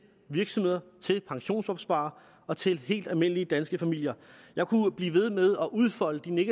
virksomheder til pensionsopsparere og til helt almindelige danske familier jeg kunne blive ved med at udfolde de